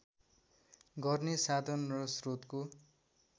गर्ने साधन र श्रोतको